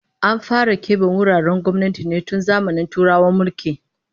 An fara kebe wuraren gwamnati ne tun zamanin Turawan mulki